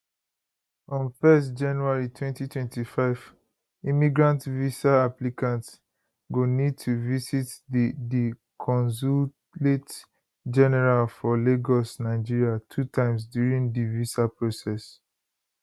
from 1st january 2025 immigrant visa applicants go need to visit di di consulate general for lagos nigeria two times during di visa process